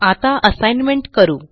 आता असाइनमेंट करू